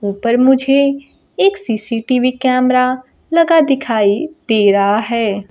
ऊपर मुझे एक सी_सी_टी_वी कैमरा लगा दिखाइ दे रहा है।